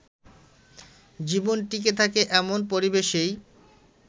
জীবন টিঁকে থাকে এমন পরিবেশেই